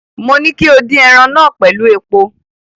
Mo ní kí o dín ẹran náà pẹ̀lú epo.